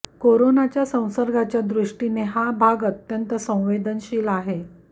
कोरोनाच्या संसर्गाच्या दृष्टीने हा भाग अत्यंत संवेदनशील आहे